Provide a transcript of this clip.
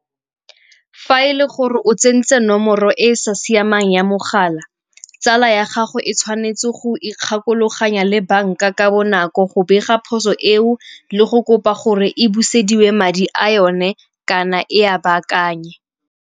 Fa e le gore o tsentse nomoro e sa siamang ya mogala, tsala ya gago e tshwanetse go ikgakologanya le banka ka bonako go bega phoso eo le go kopa gore e buseditswe madi a yone kana e a baakanye.